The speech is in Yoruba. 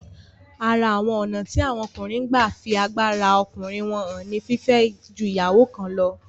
Ara àwọn ònà tí àwọn ọkùnrin n gba fí agbára ọkùnrin wọ́n hàn ni fífẹ́ ju ìyàwó kan lọ